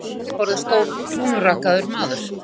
Við afgreiðsluborðið stóð krúnurakaður maður.